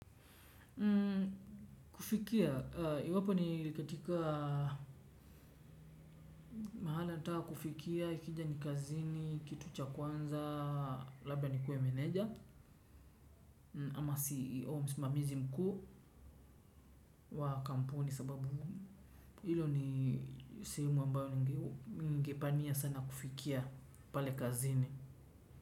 Kufikia, iwapo ni katika mahala taa kufikia, ikija ni kazini, kitu cha kwanza, labda nikue meneja ama CEO msimamizi mkuu wa kampuni sababu hilo ni sehemu ambayo ningepania sana kufikia pale kazini.